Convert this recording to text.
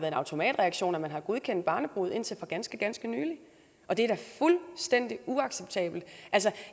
en automatreaktion at man har godkendt barnebrude indtil for ganske ganske nylig og det er da fuldstændig uacceptabelt altså